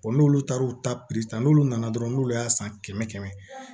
n'olu taara u ta ta n'olu nana dɔrɔn n'olu y'a san kɛmɛ